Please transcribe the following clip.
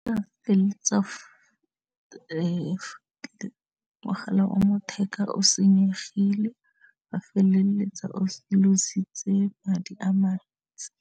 mogala o matheka o senyegile ga feleletsa o madi a mantsi.